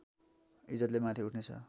ईज्जतले माथि उठ्ने छ